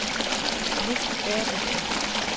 Nick Berthelsen